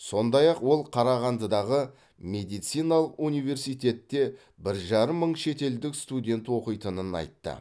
сондай ақ ол қарағандыдағы медициналық университетте бір жарым мың шетелдік студент оқитынын айтты